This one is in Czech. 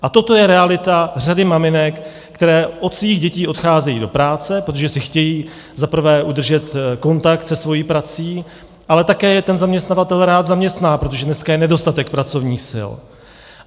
A toto je realita řady maminek, které od svých dětí odcházejí do práce, protože si chtějí zaprvé udržet kontakt se svou prací, ale také je ten zaměstnavatel rád zaměstná, protože dneska je nedostatek pracovních sil.